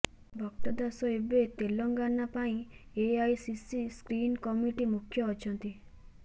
ଭକ୍ତ ଦାସ ଏବେ ତେଲେଙ୍ଗାନା ପାଇଁ ଏଆଇସିସି ସ୍କ୍ରିନିଂ କମିଟି ମୁଖ୍ୟ ଅଛନ୍ତି